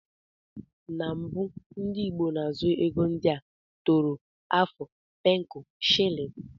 Na mgbe gbo ndi igbo na azu ego ndia; tọrọ, afu, pencu, shillin.